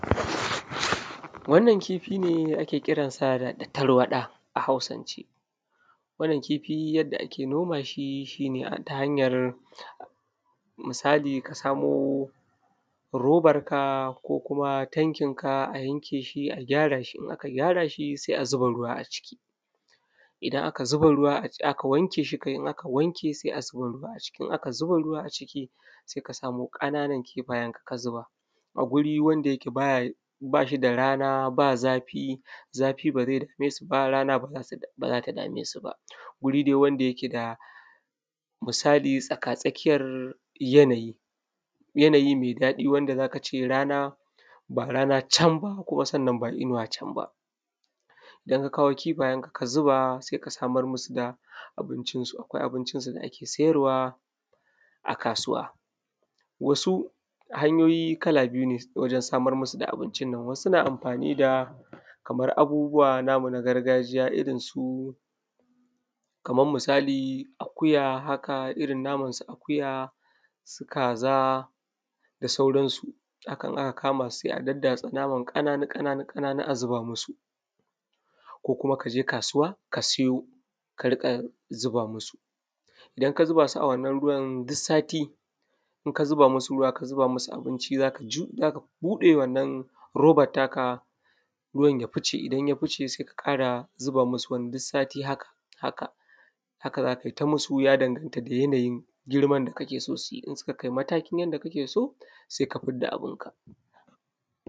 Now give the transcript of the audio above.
Wannan kifi ne da ake kiran sa da tarwaɗa a Hausance. Wannan kifi yadda ake noma shi, shi ne ta hanyar, misali ka samo robarka ko kuma tankinka, a yanke shi a gyara shi, in aka gyara shi sai a zuba ruwa a ciki. Idan aka zuba aka wanke sai a zuba a ciki. In aka zuba ruwa a ciki. Sai ka samo ƙananan kifayenka ka zuba, a guri wanda yake ba shi da rana, ba zafi, zafi ba zai dame su ba rana ba za ta dame su ba. Guri dai wanda yake da misali tsakatsakiyar yanayi. Yanayi mai daɗi wanda za ka ce rana, ba rana can ba, kuma sannan ba inuwa can ba. Idan ka kawo kifayenka ka zuba sai ka samar musu da abincinsu, akwai abincinsu da ake sayarwa a kasuwa. Wasu hanyoyi kala biyu ne wajen samar musu da abinci nan, wasu naa amfani daa, kamar abubuwa namu na gargajiya irin su, kaman misali akuya haka, irin naman su akuya, su kaza da sauransu. Haka in aka kama su sai a daddatsa naman ƙananu ƙananu a zuba masu, ko kuma ka je kasuwa ka siyo ka riƙa zuba musu. Idan ka zuba su a wannan ruwan duk saati, in ka zuba musu ruwa ka zuba musu abinci, za ka bude wannan robar taka, ruwan ya fice, idan ya fice sai ka ƙara zuba musu wani, duk sati haka. Haka za kai ta yi musu. Ya daganta da yanayin girman da kake so su yi. In suka kai matakin yanda kake so sai ka fidda abinka.